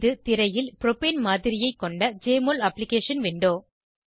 இது திரையில் ப்ரோப்பேன் மாதிரியைக் கொண்ட ஜெஎம்ஒஎல் அப்ளிகேஷன் விண்டோ